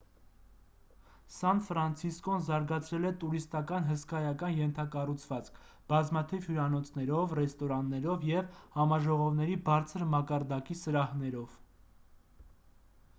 սան ֆրանցիսկոն զարգացրել է տուրիստական հսկայական ենթակառուցվածք բազմաթիվ հյուրանոցներով ռեստորաններով և համաժողովների բարձր մակարդակի սրահներով